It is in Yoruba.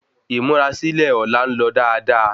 Ímúrasílè Ọ̀la ńlọ dáadáa